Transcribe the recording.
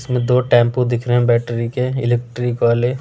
इसमें दो टेंपो दिख रहे हैं बैटरी के इलेक्ट्रिक वाले --